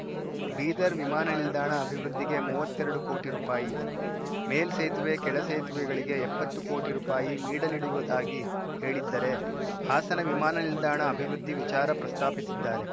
ಬೀದರ್‌ ವಿಮಾನ ನಿಲ್ದಾಣ ಅಭಿವೃದ್ಧಿಗೆ ಮೂವತ್ತರಡು ಕೋಟಿ ರೂಪಾಯಿ ಮೇಲ್ಸೇತುವೆ ಕೆಳಸೇತುವೆಗಳಿಗೆ ಎಪ್ಪತ್ತು ಕೋಟಿ ರೂಪಾಯಿ ಮೀಡಲಿಡುವುದಾಗಿ ಹೇಳಿದ್ದರೆ ಹಾಸನ ವಿಮಾನ ನಿಲ್ದಾಣ ಅಭಿವೃದ್ಧಿ ವಿಚಾರ ಪ್ರಸ್ತಾಪಿಸಿದ್ದಾರೆ